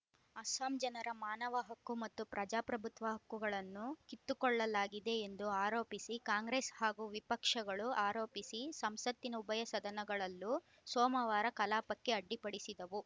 ಅಸ್ಸಾಂ ಜನರ ಮಾನವ ಹಕ್ಕು ಮತ್ತು ಪ್ರಜಾಪ್ರಭುತ್ವ ಹಕ್ಕುಗಳನ್ನು ಕಿತ್ತುಕೊಳ್ಳಲಾಗಿದೆ ಎಂದು ಆರೋಪಿಸಿ ಕಾಂಗ್ರೆಸ್‌ ಹಾಗೂ ವಿಪಕ್ಷಗಳು ಆರೋಪಿಸಿ ಸಂಸತ್ತಿನ ಉಭಯ ಸದನಗಳಲ್ಲೂ ಸೋಮವಾರ ಕಲಾಪಕ್ಕೆ ಅಡ್ಡಿಪಡಿಸಿದವು